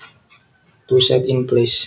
To set in place